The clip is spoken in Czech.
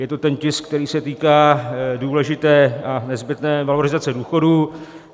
Je to ten tisk, který se týká důležité a nezbytné valorizace důchodů.